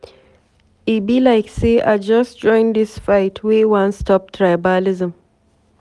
E be like sey I just join dis fight wey wan stop tribalism.